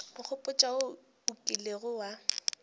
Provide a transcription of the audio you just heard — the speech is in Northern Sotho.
nkgopotša wo o kilego wa